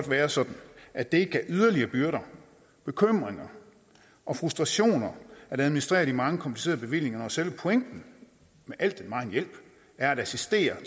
være sådan at det ikke gav yderligere byrder bekymringer og frustrationer at administrere de mange komplicerede bevillinger og selve pointen med al den megen hjælp er at assistere